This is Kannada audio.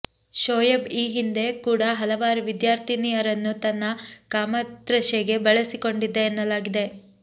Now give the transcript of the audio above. ಶೋಯೆಬ್ ಈ ಹಿಂದೆ ಕೂಡ ಹಲವಾರು ವಿದ್ಯಾರ್ಥಿನಿಯರನ್ನು ತನ್ನ ಕಾಮತೃಷೆಗೆ ಬಳಸಿ ಕೊಂಡಿದ್ದ ಎನ್ನಲಾಗಿದೆ